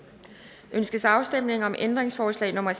ønskes afstemning om ændringsforslag nummer